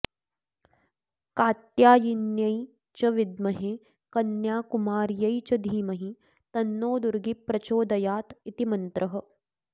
कात्यायिन्यै च विद्महे कन्याकुमार्यै च धीमही तन्नो दुर्गी प्रचोदयात् इति मन्त्रः